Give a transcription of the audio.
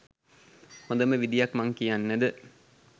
හොඳම විධියක් මං කියන්නද?